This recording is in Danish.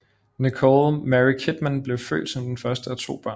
Nicole Mary Kidman blev født som den første af to børn